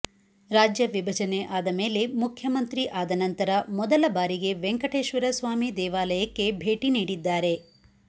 ರಾಜ್ಯ ವಿಭಜನೆ ಆದ ಮೇಲೆ ಮುಖ್ಯಮಂತ್ರಿ ಆದ ನಂತರ ಮೊದಲ ಬಾರಿಗೆ ವೆಂಕಟೇಶ್ವರ ಸ್ವಾಮಿ ದೇವಾಲಯಕ್ಕೆ ಭೇಟಿ ನೀಡಿದ್ದಾರೆ